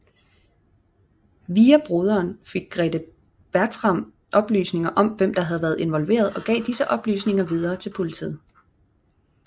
Via broderen fik Grethe Bartram oplysninger om hvem der havde været involveret og gav disse oplysninger videre til politiet